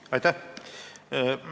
Aitäh!